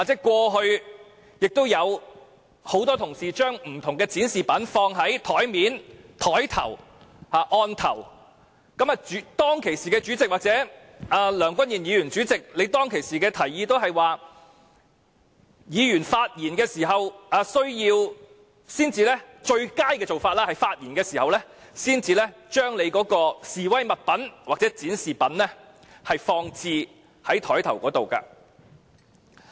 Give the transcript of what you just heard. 過去，有很多同事會把不同的展示品放在桌面或案頭，而當時的主席或現任主席梁君彥議員均會告訴議員，最佳的做法是在他們發言時才把示威物品或展示品放置在案頭。